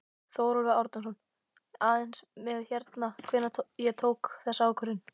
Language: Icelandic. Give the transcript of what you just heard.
Þórólfur Árnason: Aðeins með hérna, hvenær ég tók þessa ákvörðun?